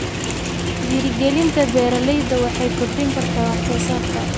Dhiirrigelinta beeralayda waxay kordhin kartaa wax soo saarka.